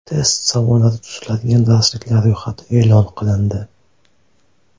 Test savollari tuziladigan darsliklar ro‘yxati e’lon qilindi.